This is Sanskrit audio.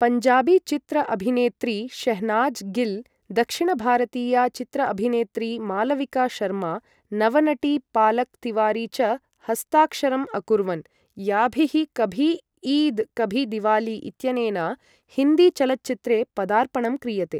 पञ्जाबी चित्र अभिनेत्री शेह्नाज़ गिल्, दक्षिणभारतीया चित्र अभिनेत्री मालविका शर्मा, नवनटी पालक् तिवारी च हस्ताक्षरम् अकुर्वन्, याभिः कभी ईद् कभी दिवाली इत्यनेन हिन्दी चलच्चित्रे पदार्पणं क्रियते।